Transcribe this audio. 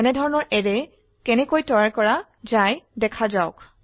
এনেধৰনৰ অ্যাৰে কেনেকৈ তৈয়াৰ কৰা দেখা যাওক